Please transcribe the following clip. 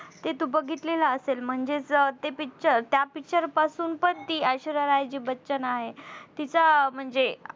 ते तू बघतलेला असेल म्हणजेच ते Picture त्या Picture पासून पण ती ऐश्वर्या राय जी बच्चन आहे तीचा म्हणजे